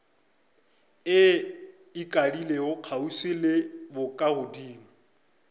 e ikadile kgauswi le bokagodimo